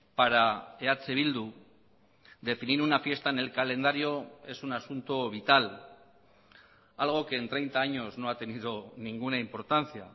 para eh bildu definir una fiesta en el calendario es un asunto vital algo que en treinta años no ha tenido ninguna importancia